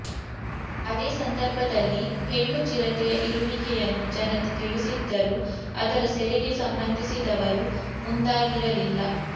ಅದೇ ಸಂದರ್ಭದಲ್ಲಿ ಹೆಣ್ಣು ಚಿರತೆಯ ಇರುವಿಕೆಯನ್ನು ಜನತೆ ತಿಳಿಸಿದ್ದರೂ ಅದರ ಸೆರೆಗೆ ಸಂಬಂಧಿಸಿದವರು ಮುಂದಾಗಿರಲಿಲ್ಲ